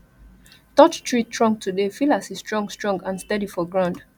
touch tree trunk today feel as e strong strong and steady for ground